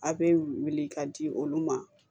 A' be weele ka di olu ma